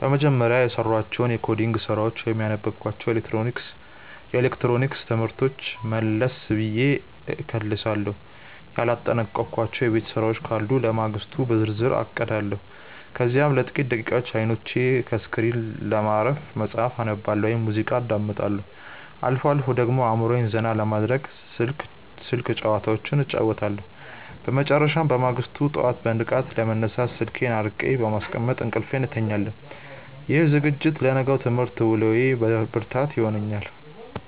በመጀመሪያ፣ የሰራኋቸውን የኮዲንግ ስራዎች ወይም ያነበብኳቸውን የኤሌክትሮኒክስ ትምህርቶች መለስ ብዬ እከልሳለሁ። ያላጠናቀቅኳቸው የቤት ስራዎች ካሉ ለማግስቱ በዝርዝር አቅዳለሁ። ከዚያም ለጥቂት ደቂቃዎች አይኖቼን ከስክሪን ለማረፍ መጽሐፍ አነባለሁ ወይም ሙዚቃ አዳምጣለሁ። አልፎ አልፎ ደግሞ አእምሮዬን ዘና ለማድረግ ስልክ ጭዋታዎች እጫወታለሁ። በመጨረሻም፣ በማግስቱ ጠዋት በንቃት ለመነሳት ስልኬን አርቄ በማስቀመጥ እንቅልፌን እተኛለሁ። ይህ ዝግጅት ለነገው የትምህርት ውሎዬ ብርታት ይሆነኛል።